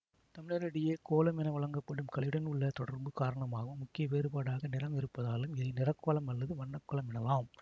தமிழரிடையே கோலம் என வழங்கப்படும் கலையுடன் உள்ள தொடர்பு காரணமாகவும் முக்கிய வேறுபாடாக நிறம் இருப்பதாலும் இதை நிறக்கோலம் அல்லது வண்ணக்கோலம் எனலாம்